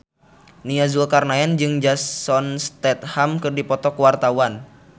Nia Zulkarnaen jeung Jason Statham keur dipoto ku wartawan